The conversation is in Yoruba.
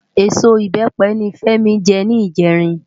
Ésó ibèpe ni Femi jè nijèrin